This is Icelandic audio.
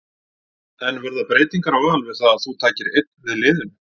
En verða breytingar á Val við það að þú takir einn við liðinu?